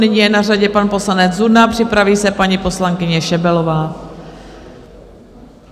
Nyní je na řadě pan poslanec Zuna, připraví se paní poslankyně Šebelová.